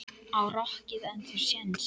Á rokkið ennþá séns?